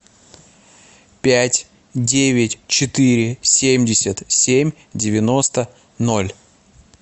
пять девять четыре семьдесят семь девяносто ноль